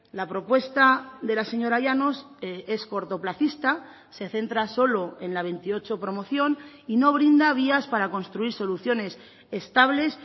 la propuesta de la señora llanos es cortoplacista se centra solo en la veintiocho promoción y no brinda vías para construir soluciones estables